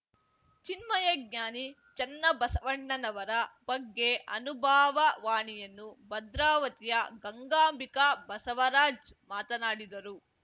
ಚಿನ್ಮಯಜ್ಞಾನಿ ಚನ್ನಬಸವಣ್ಣನವರ ಬಗ್ಗೆ ಅನುಭಾವ ವಾಣಿಯನ್ನು ಭದ್ರಾವತಿಯ ಗಂಗಾಂಭಿಕ ಬಸವರಾಜ್‌ ಮಾತನಾಡಿದರು